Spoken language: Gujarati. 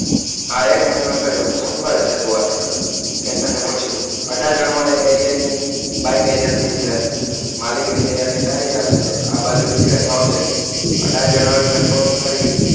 હા એક મહિનો થયો. શું કરે છે તું આજકાલ કે તને પૂછ્યું આડાજણમાં એ એરિયાની બાઈક એજન્સી છે. માલિકની દયાથી સારી ચાલે છે. આ બાજુ નીકળે તો આવજે. આડાજણ આવીને ફોન કરી,